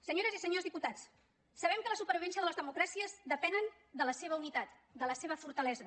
senyores i senyors diputats sabem que la supervivència de les democràcies depèn de la seva unitat de la seva fortalesa